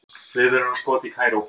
Viðvörunarskot í Kaíró